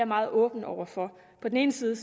meget åben over for på den ene side